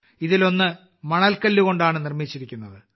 ഇതിലൊന്ന് മണൽക്കല്ലുകൊണ്ടാണ് നിർമ്മിച്ചിരിക്കുന്നത്